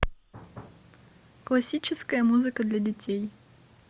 классическая музыка для детей